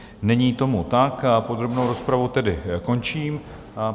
Není tomu tak, podrobnou rozpravu tedy končím.